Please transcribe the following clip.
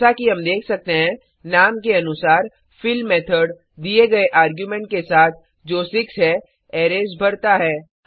जैसा कि हम देख सकते हैं नाम के अनुसार फिल मेथड दिए गए आर्गुमेंट के साथ जो 6 है अरैज भरता है